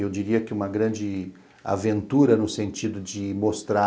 Eu diria que uma grande aventura no sentido de mostrar